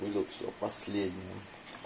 выдал все последнее